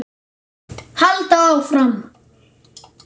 Halda áfram.